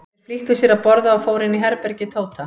Þeir flýttu sér að borða og fóru inn í herbergi Tóta.